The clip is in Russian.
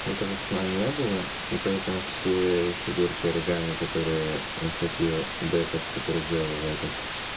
этого сна не было и поэтому все фигурки оригами которые находил декарт который делал его этот